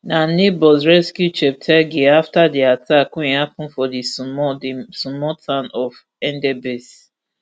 na neighbours rescue cheptegei afta di attack wey happun for di small di small town of endebess